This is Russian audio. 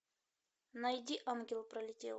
найди ангел пролетел